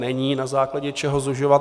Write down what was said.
Není na základě čeho zužovat.